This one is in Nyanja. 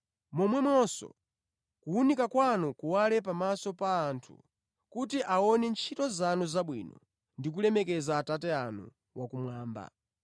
Momwemonso kuwunika kwanu kuwale pamaso pa anthu kuti aone ntchito zanu zabwino ndi kulemekeza Atate anu akumwamba.